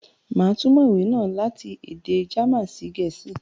Màá túmọ̀ ìwé náà láti èdè German sí Gẹ̀ẹ̀sìí